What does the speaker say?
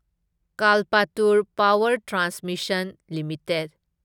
Kalpataru Power Transmission limited